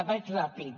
vaig ràpid